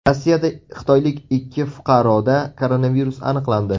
Rossiyada xitoylik ikki fuqaroda koronavirus aniqlandi.